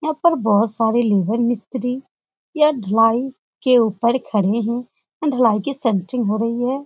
यहाँ पर बोहत बहु सारे लेबर मिस्त्रीयह धुलाई के ऊपर खड़े हैं। धुलाई की हो रही है।